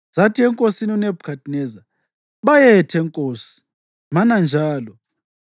Zathi enkosini uNebhukhadineza, “Bayethe nkosi, mana njalo!